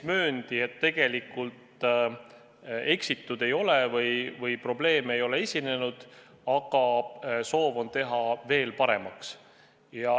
Mööndi, et tegelikult eksitud ei ole, probleeme ei ole esinenud, aga soov on teha kontroll veel paremaks.